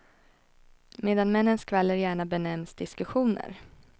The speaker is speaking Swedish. Medan männens skvaller gärna benämns diskussioner.